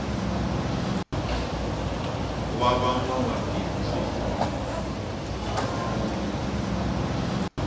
wa va nwabindzu hi wu nkulu